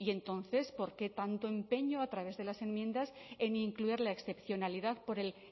bueno y entonces por qué tanto empeño a través de las enmiendas en incluir la excepcionalidad por el